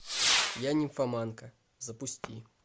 я нимфоманка запусти